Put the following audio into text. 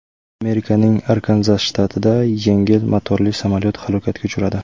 Amerikaning Arkanzas shtatida yengil motorli samolyot halokatga uchradi.